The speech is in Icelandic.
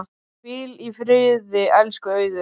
Hvíl í friði, elsku Auður.